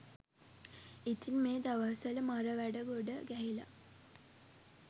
ඉතින් මෙ දවස්වල මරවැඩ ගොඩ ගැහිලා